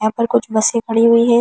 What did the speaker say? यहां पर कुछ बसे पड़ी हुई है।